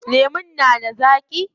Lemun na da zaaƙi?